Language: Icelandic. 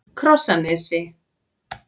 Krossanesi